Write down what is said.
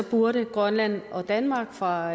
burde grønland og danmark fra